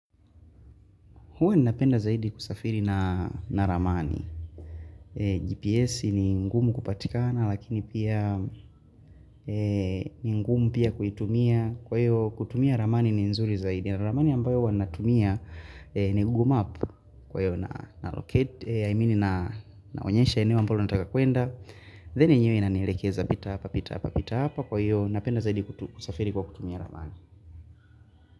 Huwa ninapenda zaidi kusafiri na ramani. GPS ni ngumu kupatikana lakini pia ni ngumu pia kuitumia. Kwa hiyo kutumia ramani ni nzuri zaidi. Na ramani ambayo huwa natumia ni gugu map kwa hiyo naonyesha eneo ambalo nataka kuenda. Then yenyewe inanielekeza pita hapa pita hapa pita hapa. Kwa hiyo napenda zaidi kusafiri kwa kutumia ramani.